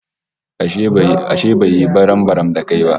Ashe ba ya yi barambaram da kai ba?